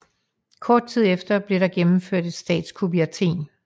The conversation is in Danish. Kort tid efter blev der gennemført et statskup i Athen